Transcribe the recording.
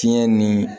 Fiɲɛ ni